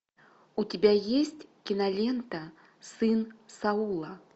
у тебя есть кинолента сын саула